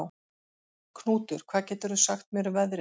Knútur, hvað geturðu sagt mér um veðrið?